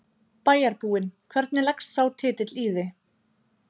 bæjarbúinn, hvernig leggst sá titill í þig?